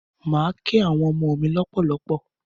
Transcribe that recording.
Mà á kẹ́ àwọn ọmọ mí lọ́pọ̀lọpọ̀.